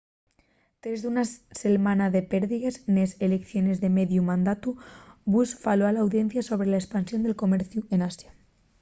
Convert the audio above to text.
tres d’una selmana de pérdigues nes eleiciones de mediu mandatu bush faló a l’audiencia sobre la espansión del comerciu n’asia